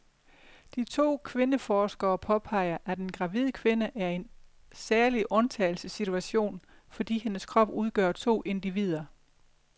De to kvindeforskere påpeger, at en gravid kvinde er i en særlig undtagelsessituation, fordi hendes krop udgør to individer.